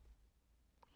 DR2